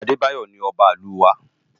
Abebayo ni òbá Ilú wá